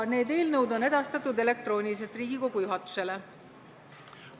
Need eelnõud on edastatud Riigikogu juhatusele elektrooniliselt.